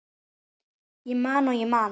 Ég man og ég man.